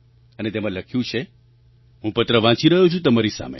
અને તેમાં લખ્યું છે હું પત્ર વાંચી રહ્યો છું તમારી સામે